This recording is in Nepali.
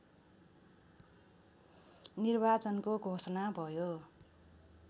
निर्वाचनको घोषणा भयो